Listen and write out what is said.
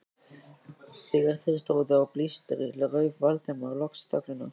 Þegar þeir stóðu á blístri rauf Valdimar loks þögnina.